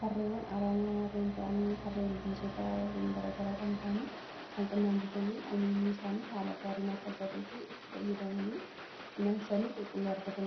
farreewwan araamaa warreen ta'anii farree ilbiisota warreen garagaraa kan ta'anii kan qonnaan bultoonni omishni isaanii haala gaariin akka galuu fi itti fayyadamani midhaansanii qulqulluu argatanidha.